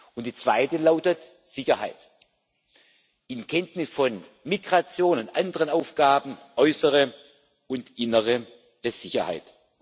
Und die zweite lautet Sicherheit in Kenntnis von Migration und anderen Aufgaben äußere und innere Sicherheit.